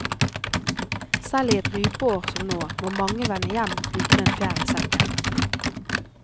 Selv i et rypeår som nå, må mange vende hjem uten en fjær i sekken.